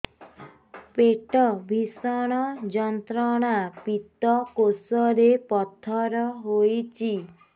ପେଟ ଭୀଷଣ ଯନ୍ତ୍ରଣା ପିତକୋଷ ରେ ପଥର ହେଇଚି